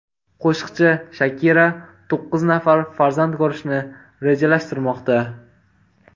Qo‘shiqchi Shakira to‘qqiz nafar farzand ko‘rishni rejalashtirmoqda.